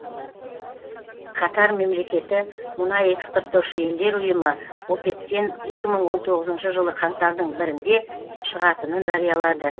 катар мемлекеті мұнай экспорттаушы елдер ұйымы опек тен екі мың он тоғызыншы жылы қаңтардың бірде шығатынын жариялады